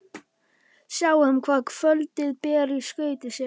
Sjáum hvað kvöldið ber í skauti sér!